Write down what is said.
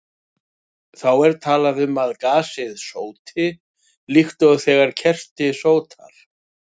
Þá er talað um að gasið sóti, líkt og þegar kerti sótar.